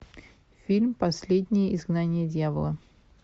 фильм последнее изгнание дьявола